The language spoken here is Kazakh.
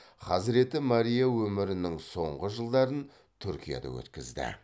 хазіреті мария өмірінің соңғы жылдарын түркияда өткізді